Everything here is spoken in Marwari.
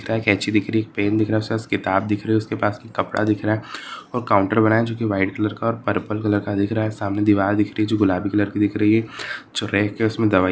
एक केची दिख रही है एक पेन दिख रहा उसके पास एक किताब दिख रही है उसके पास एक कपडा दिख रहा है और काउंटर बना है जो कि व्हाइट कलर का पर्पल कलर का दिख रहा है सामने दिवार दिख रही है जो गुलाबी कलर कि दिख रही है जो रेक है उसमे दवाई --